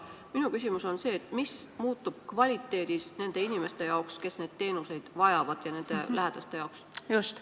Minu küsimus on see: mis muutub kvaliteedis nende inimeste jaoks, kes neid teenuseid vajavad, ja nende lähedaste jaoks?